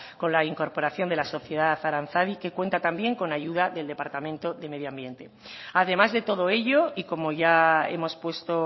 con la incorporación de la sociedad aranzadi que cuenta también con ayuda del departamento de medio ambiente además de todo ello y como ya hemos puesto